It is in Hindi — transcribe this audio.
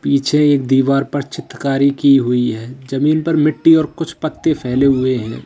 पीछे एक दीवार पर चित्रकारी की हुई है जमीन पर मिट्टी और कुछ पत्ते फैले हुए हैं।